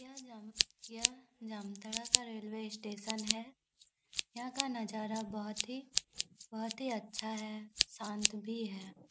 यह जाम यह जामताड़ा का रेलवे स्टेशन है यहां का नजारा बहुत ही बहुत ही अच्छा है शांत भी है।